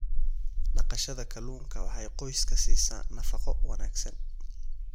Dhaqashada kalluunka waxay qoyska siisaa nafaqo wanaagsan.